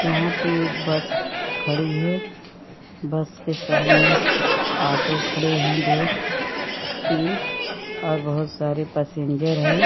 यहाँ पर एक बस खड़ी है बस के सामने ऑटो खड़ी है दो तीन और बहुत सारे पैसेंजर है।